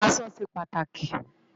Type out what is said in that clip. Aṣọ ṣé pàtáki